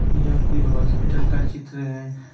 या कोई हॉस्पिटल का चित्र है।